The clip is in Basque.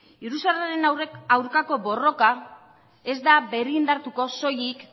iruzurraren aurkako borroka ez da berrindartuko soilik